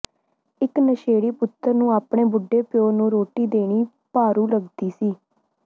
ਇਕ ਨਸ਼ੇੜੀ ਪੁੱਤਰ ਨੂੰ ਆਪਣੇ ਬੁੱਢੇ ਪਿਓ ਨੂੰ ਰੋਟੀ ਦੇਣੀ ਭਾਰੂ ਲੱਗਦੀ ਸੀ